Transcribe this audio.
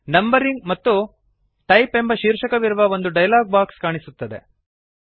numbering ಮತ್ತು type ಎಂಬ ಶೀರ್ಷಕವಿರುವ ಒಂದು ಡಯಲಾಗ್ ಬಾಕ್ಸ್ ಕಾಣಿಸುತ್ತದೆ